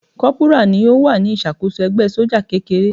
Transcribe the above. Kọ́pùrà ni ó wà ní ìṣàkóso ẹgbẹ́ sójà kékeré.